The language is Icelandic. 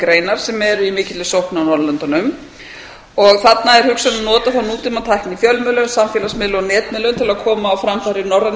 greinar sem eru í mikilli sókn á norðurlöndunum þarna er hugsunin að nota þá nútímatækni í fjölmiðlum samfélagsmiðlum og netmiðlum til að koma á framfæri norrænni